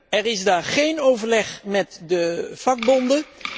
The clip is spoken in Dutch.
Er is daar geen overleg met de vakbonden.